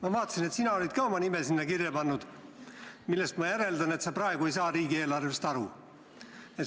Ma vaatasin, et sina olid ka oma nime sinna kirja pannud, millest ma järeldan, et sa praegu ei saa riigieelarvest aru.